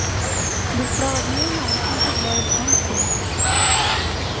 беспроводные наушники для айфон семь